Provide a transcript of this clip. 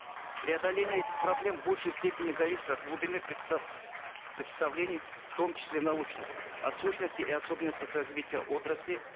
преодоление этих проблем в большей степени зависит от глубины представлений в том числе научных о сущности и особенностях развития отрасли